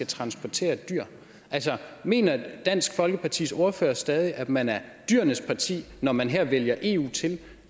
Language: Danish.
transportere dyr altså mener dansk folkepartis ordfører stadig at man er dyrenes parti når man her vælger eu til